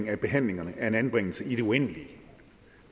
af behandlingen af en anbringelse i det uendelige